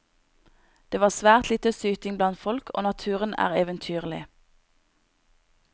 Det var svært lite syting blant folk, og naturen er eventyrlig.